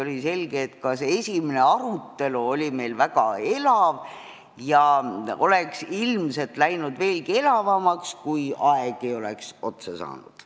Oli selge, et ka esimene arutelu oli meil väga elav ja oleks ilmselt läinud veelgi elavamaks, kui aeg ei oleks otsa saanud.